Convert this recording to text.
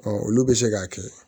olu bɛ se k'a kɛ